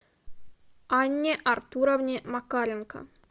анне артуровне макаренко